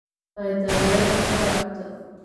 Ma tahay taageere kubbadda cagta?